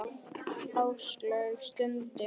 Áslaug stundi.